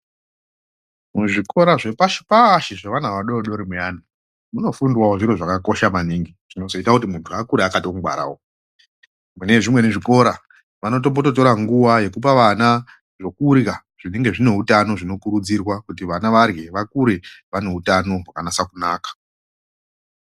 Muzvikora zvepashi -pashi zvevana vadodori vayana munofundwawo zviro zvakakosha maningi zvinozoite kuti munhu akure akatongwara mune zvimwe zvikora vanotombotora nguwa yekupa vana zvekurya zvinenge zvine utano zvinokurudzirwa kuti vana varye vakure vane utano hwakanasa kunaka.